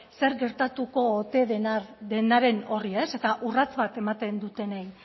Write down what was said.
zer gertatuko ote denaren horri ez eta urrats bat ematen dutenei